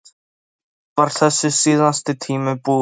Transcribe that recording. Loksins var þessi síðasti tími búinn.